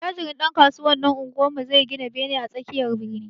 Attajirin ɗankasuwan unguwarmu zai gina bene a tsakiyar birni.